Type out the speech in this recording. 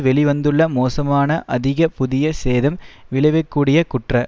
வெளி வந்துள்ள மோசமான அதிக புதிய சேதம் விளைவிக்கூடிய குற்ற